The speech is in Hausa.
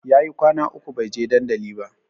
Yayi kwana uku bai je dandali ba